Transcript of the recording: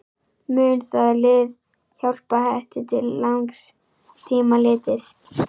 Mun það lið hjálpa Hetti til langs tíma litið?